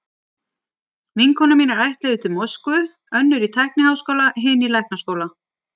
Vinkonur mínar ætluðu til Moskvu, önnur í tækniháskóla, hin í læknaskóla.